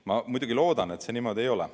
Ma muidugi loodan, et see niimoodi ei ole.